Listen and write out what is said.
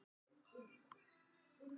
Hvor er þyngri; grágæs eða smyrill?